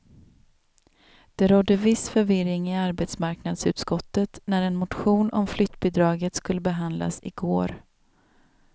Det rådde viss förvirring i arbetsmarknadsutskottet när en motion om flyttbidraget skulle behandlas i går.